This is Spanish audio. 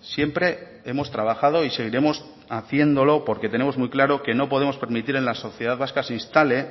siempre hemos trabajado y seguiremos haciéndolo porque tenemos muy claro que no podemos permitir en la sociedad vasca se instale